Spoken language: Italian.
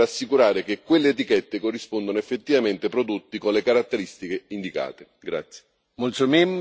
Vanno però assicurati controlli adeguati per garantire che quelle etichette corrispondono effettivamente a prodotti con le caratteristiche indicate.